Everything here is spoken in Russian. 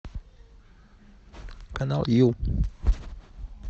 канал ю